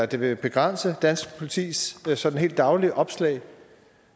det vil begrænse dansk politis sådan helt daglige opslag